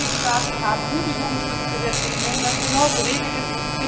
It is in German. Die Mitgliedstaaten haben gute Jugendschutzgesetze, in denen das genau geregelt ist.